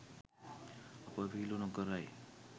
අප විහිලු නොකරයි